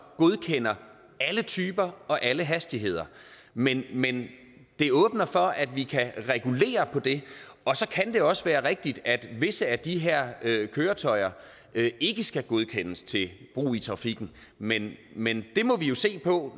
godkender alle typer og alle hastigheder men men det åbner for at vi kan regulere på det og så kan det også være rigtigt at visse af de her køretøjer ikke skal godkendes til brug i trafikken men men det må vi jo se på